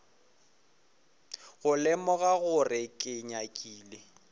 go lemoga gore ke nyakile